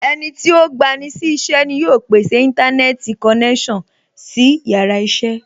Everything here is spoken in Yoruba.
Ẹnití ó gba ni sí iṣẹ́ ni yóò pèsè Íńtánẹ́ẹ̀tì konẹ́sàn sí yàrá iṣẹ́